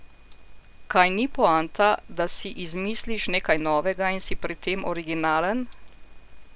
Kaj ni poanta, da si izmisliš nekaj novega in si pri tem originalen?